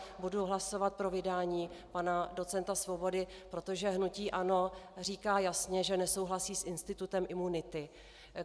Budu hlasovat pro vydání pana docenta Svobody, protože hnutí ANO říká jasně, že nesouhlasí s institutem imunity.